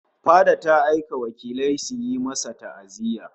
Fada ta aika wakilai suyi masa ta'aziyya